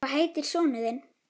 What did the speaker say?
Hvað heitir sonur þinn?